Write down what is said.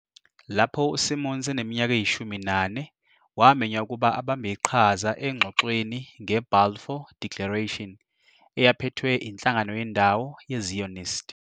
Lapho uSimons eneminyaka eyishumi nane, wamenywa ukuba abambe iqhaza engxoxweni ngeBalfour Declaration eyaphethwe inhlangano yendawo yeZionist.